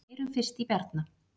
Heyrum fyrst í Bjarna.